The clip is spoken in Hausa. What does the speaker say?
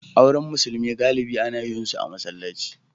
Auren musulmi galibi ana yin su a masallaci.